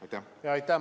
Aitäh!